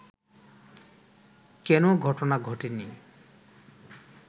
কেনো ঘটনা ঘটেনি